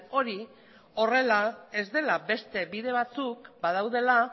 hori horrela ez dela beste bide batzuk badaudela